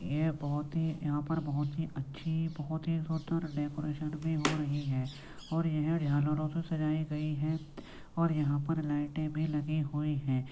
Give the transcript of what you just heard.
ये बहुत ही यहां पर बहुत ही अच्छी बहुत ही सुन्दर डेकोरेशन हो रही है और यह है और यह से सजाई गई है और यहां पर लाइटे भी लगी हुई है।